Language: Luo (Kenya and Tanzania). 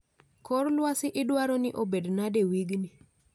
Kor lwasi idwaro ni obed nade wigni